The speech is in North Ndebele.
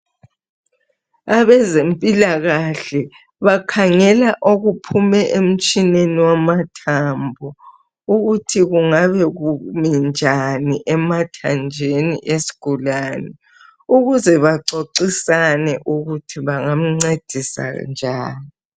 Abezempilakahle bakhangela okuphuma emtshineni wamathambo ukuthi kungabe kumi njani emathanjeni esigulane ukuze baxoxisane ukuthi bangamncedisa njani.